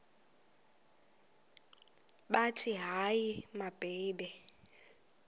bathi hayi mababe